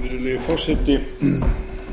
virðulegi forseti